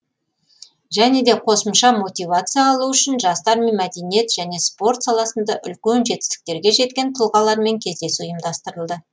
және де қосымша мотивация алуы үшін жастар мен мәдениет және спорт саласында үлкен жетістіктерге жеткен тұлғалармен кездесу ұйымдастырылды